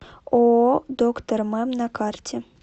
ооо доктор мэм на карте